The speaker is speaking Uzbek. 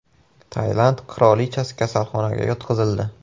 Tailand qirolichasi kasalxonaga yotqizildi.